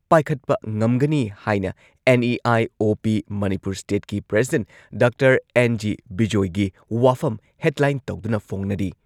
ꯄꯥꯏꯈꯠꯄ ꯉꯝꯒꯅꯤ ꯍꯥꯏꯅ ꯑꯦꯟ.ꯏ.ꯑꯥꯏ.ꯑꯣ.ꯄꯤ ꯃꯅꯤꯄꯨꯔ ꯁ꯭ꯇꯦꯠꯀꯤ ꯄ꯭ꯔꯦꯁꯤꯗꯦꯟꯠ ꯗꯥꯛꯇꯔ ꯑꯦꯟ.ꯖꯤ. ꯕꯤꯖꯣꯏꯒꯤ ꯋꯥꯐꯝ ꯍꯦꯗꯂꯥꯏꯟ ꯇꯧꯗꯨꯅ ꯐꯣꯡꯅꯔꯤ꯫